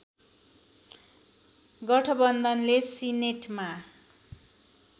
गठबन्धनले सिनेटमा